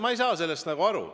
Ma ei saa sellest aru.